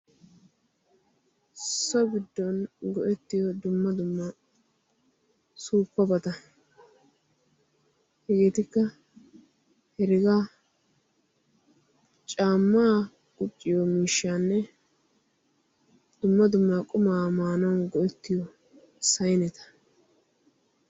so giddon go7ettiyo dumma dumma suuppabata hegeetikka hergaa caammaa gucciyo miishshaanne dumma dummaa qumaa maanawu goettiyo sayneta